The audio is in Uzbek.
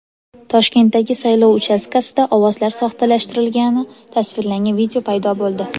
Toshkentdagi saylov uchastkasida ovozlar soxtalashtirilgani tasvirlangan video paydo bo‘ldi.